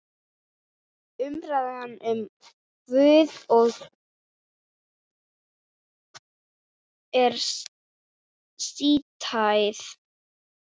Umræðan um Guð er sístæð.